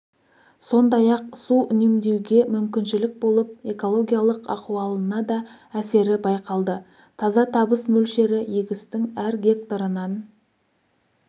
сондай-ақ су үнемдеуге мүмкіншілік болып экологиялық ахуалына да әсері байқалды таза табыс мөлшері егістің әр гектарынан